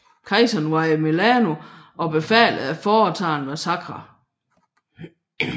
Kejseren var i Milano og befalede at foretage en massakre